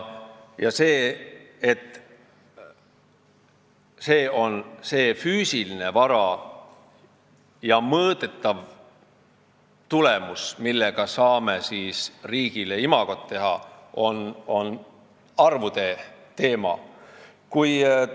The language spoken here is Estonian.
See arvude teema on see füüsiline vara ja mõõdetav tulemus, mille abil me saame riigile imagot luua.